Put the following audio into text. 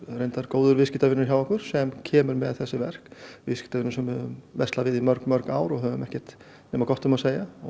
góður viðskiptavinur hjá okkur sem kemur með þessi verk viðskiptavinur sem við höfum verslað við í mörg mörg ár og höfum ekkert nema gott um að segja